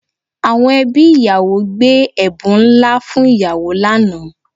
Àwọn ẹbí ìyàwó gbé ẹ̀bùn ńlá fún ìyàwó lánàá